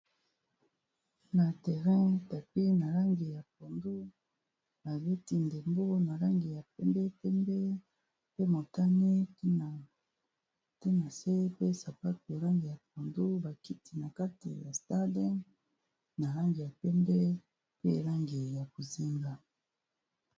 Na terrein tapis na langi ya pondu abeti ndembo na langi ya pembe pembe, pe motane tina na se pe sapatu yarange ya pondu, bakiti na kate ya stardum na langi ya pembe pe nalangi ya bonzinga.